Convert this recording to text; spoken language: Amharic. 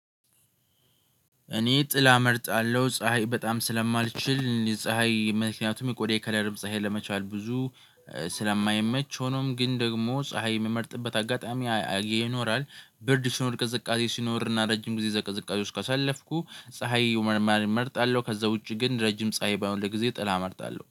እኔ ጥላ እመርጣለሁ ፀሀይ በጣም ስለማልችል ፀሀይ ምክንያቱም የቆዳዬ ከለርም ፀሀይ ብዙ ስለማይመች ሆኖም ግን ደግሞ ፀሀይ የምመርጥበት አጋጣሚ አይ ይኖራል። ብርድ ሲኖር ቅዝቃዜ ሲኖርና ረጅም ጊዜ እዛ ቅዝቃዜ ውስጥ ካሳለፍኩ ፀሀይ ይሁን እመርጣለሁ። ከዛ ውጪ ግን ረጅም ፀሀይ ባይሆን ለጊዜ ጥላ እመርጣለሁ